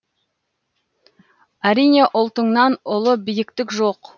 әрине ұлтыңнан ұлы биіктік жоқ